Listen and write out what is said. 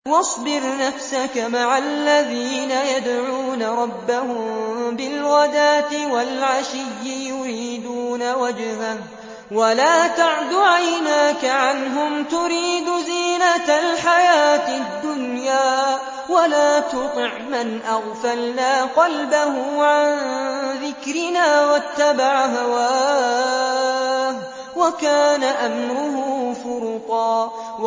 وَاصْبِرْ نَفْسَكَ مَعَ الَّذِينَ يَدْعُونَ رَبَّهُم بِالْغَدَاةِ وَالْعَشِيِّ يُرِيدُونَ وَجْهَهُ ۖ وَلَا تَعْدُ عَيْنَاكَ عَنْهُمْ تُرِيدُ زِينَةَ الْحَيَاةِ الدُّنْيَا ۖ وَلَا تُطِعْ مَنْ أَغْفَلْنَا قَلْبَهُ عَن ذِكْرِنَا وَاتَّبَعَ هَوَاهُ وَكَانَ أَمْرُهُ فُرُطًا